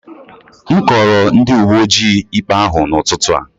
M kọọrọ ndị uwe ojii ikpe ahụ n'ụtụtụ a